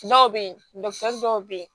Dɔw bɛ ye dɔw bɛ yen